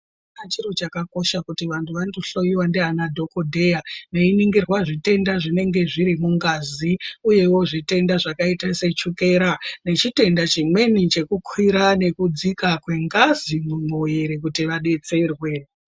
Achiro chakakosha kuti vantu vandohloiwa ndiana dhokodheya veiningirwa zvitenda zvinenge zviri mungazi uyewo zvitenda zvakaita sechokera Nechitenda chimweni chekukwira nekudzika kwengazi mumwiri kuti vadetserwe.